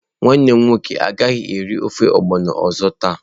Nwannem nwoke agaghi eri ofe ogbono ozo taa.